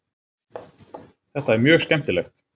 Þetta er mjög skemmtilegt.